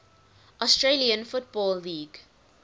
australian football league